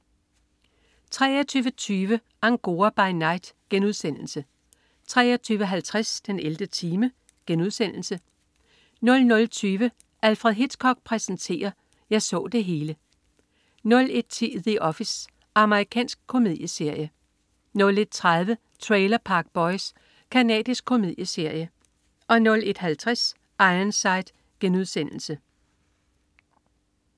23.20 Angora by Night* 23.50 den 11. time* 00.20 Alfred Hitchcock præsenterer: Jeg så det hele 01.10 The Office. Amerikansk komedieserie 01.30 Trailer Park Boys. Canadisk komedieserie 01.50 Ironside*